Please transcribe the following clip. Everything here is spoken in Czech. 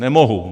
Nemohu.